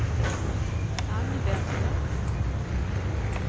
använder